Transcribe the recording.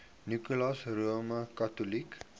nicholas roman catholic